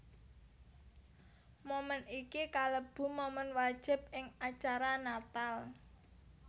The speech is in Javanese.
Moment iki kalebu momen wajib ing acara Natal